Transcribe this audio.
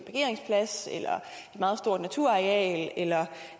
meget stort naturareal eller